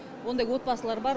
ондай отбасылар бар